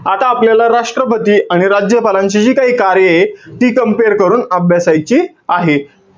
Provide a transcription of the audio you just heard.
आता आपल्याला राष्ट्रपती आणि राज्यपालाची जी काही कार्य आहेत. ती compare करून अभ्यासाची आहे.